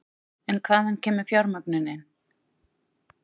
En hvaðan kemur fjármögnunin?